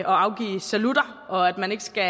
afgive salutter og at man ikke skal